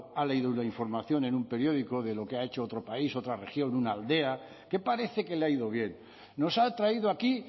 ha leído una información en un periódico de lo que ha hecho otro país otra región una aldea que parece que le ha ido bien nos ha traído aquí